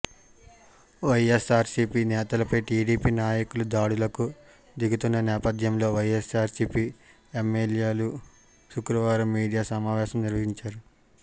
వైఎస్సార్సీపీ నేతలపై టీడీపీ నాయకులు దాడులకు దిగుతున్న నేపథ్యంలో వైఎస్సార్సీపీ ఎమ్మెల్యేలు శుక్రవారం మీడియా సమావేశం నిర్వహించారు